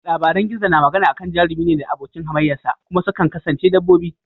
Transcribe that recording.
Labaran gizo na magana akan jarumi ne da abokin hamayya sa, kuma sukan kasance dabbobi.